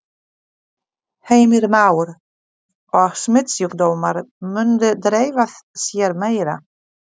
Heimir Már: Og smitsjúkdómar myndu dreifa sér meira?